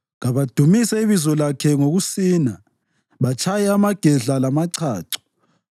Kabadumise ibizo lakhe ngokusina, batshaye amagedla lamachacho.